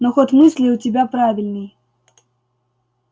но ход мысли у тебя правильный